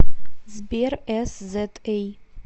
сбер эсзэтэй